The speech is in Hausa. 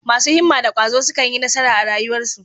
Masu himma da ƙwazo sukan yi nasara a rayuwarsu.